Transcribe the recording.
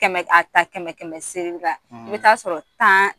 Kɛmɛ a ta kɛmɛ kɛmɛ segi la i bɛ taa sɔrɔ tan